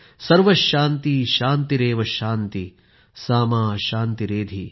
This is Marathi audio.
सर्वशान्तिः शान्तिरेव शान्तिः सा मा शान्तिरेधि